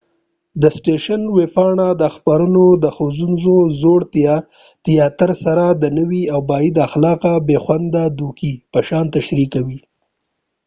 د سټیشن ویبپاڼه دا خپرونه د ښوونځې زوړ تیاتر سره د نوي او بد اخلاقه، بې خونده دوکې په شان تشریح کوي